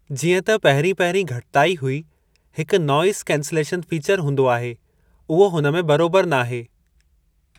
जीअं त पहिरीं पहिरीं घटिताई हुई हिकु नॉइज़ कैंसिलेशन फ़ीचर हूंदो आहे उहो हुन में बरोबरु नाहे।